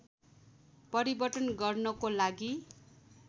परिवर्तन गर्नको लागि